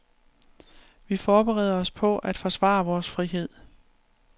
Vi forbereder os på at forsvare vores frihed.